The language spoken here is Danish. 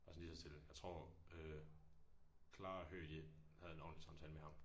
Bare sådan lige så stille. Jeg tror øh Clara og Høg de havde en ordentlig samtale med ham